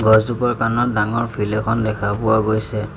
গছজোপাৰ কানত ডাঙৰ ফিল্ড এখন দেখা পোৱা গৈছে।